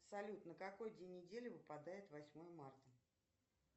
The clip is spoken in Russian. салют на какой день недели выпадает восьмое марта